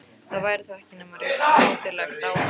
Það væri þá ekki nema rétt mátulegt á hann.